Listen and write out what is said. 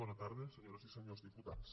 bona tarda senyores i senyors diputats